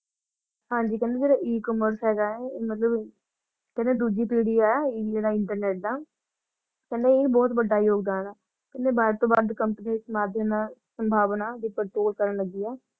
ਹਾਂਜੀ ਕਹਿੰਦੇ ਜੇੜਾ e-commerce ਹੈਗਾ ਹੈ ਇਹ ਮਤਲਬ ਕਹਿੰਦੇ ਦੁੱਜੀ ਪੀੜੀ ਹੈ internet ਦਾ ਕਹਿੰਦੇ ਇਹ ਬਹੁਤ ਵੱਡਾ ਯੋਗਦਾਨ ਹਾ ਕਹਿੰਦੇ company ਇਸ ਮਾਧਿਅਮ ਨਾਲ ਸੰਭਾਵਨਾ ਵੀ control ਕਰਨ ਲੱਗੀ ਹਾ।